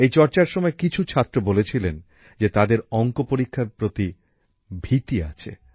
এই চর্চার সময় কিছু ছাত্রছাত্রী বলেছিলেন যে তাদের অঙ্ক পরীক্ষার প্রতি ভীতি আছে